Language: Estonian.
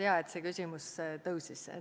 Hea, et see küsimus üles tõusis.